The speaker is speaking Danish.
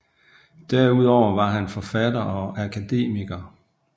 Derudover var han forfatter og akademiker